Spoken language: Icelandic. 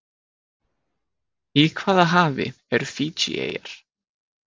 Í hvaða hafi eru Fiji-eyjar?